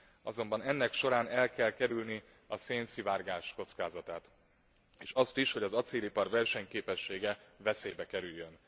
Azonban ennek során el kell kerülni a szénszivárgás kockázatát és azt is, hogy az acélipar versenyképessége veszélybe kerüljön.